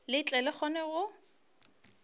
le tle le kgone go